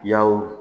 Yaw